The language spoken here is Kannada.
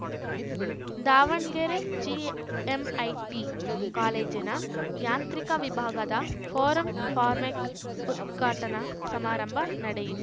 ದಾವಣಗೆರೆ ಜಿಎಂಐಟಿ ಕಾಲೇಜಿನ ಯಾಂತ್ರಿಕ ವಿಭಾಗದ ಫೋರಂ ಫಾರ್ಮೆಕ್‌ ಉದ್ಘಾಟನಾ ಸಮಾರಂಭ ನಡೆಯಿ